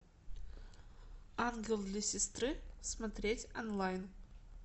ангел для сестры смотреть онлайн